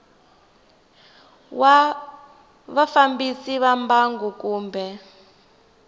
wa vafambisi va mbangu kumbe